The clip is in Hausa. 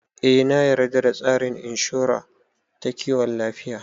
Eh na yarda da tsarin inshora ta kiwon lafiya